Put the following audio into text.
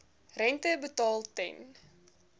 rente betaal ten